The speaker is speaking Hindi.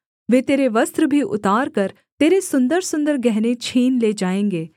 वे तेरे वस्त्र भी उतारकर तेरे सुन्दरसुन्दर गहने छीन ले जाएँगे